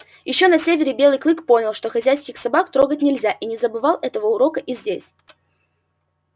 ещё на севере белый клык понял что хозяйских собак трогать нельзя и не забывал этого урока и здесь